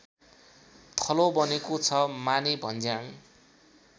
थलो बनेको छ मानेभन्ज्याङ